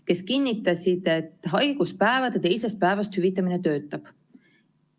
Nad kinnitasid, et haiguspäevade teisest päevast hüvitamine töötab.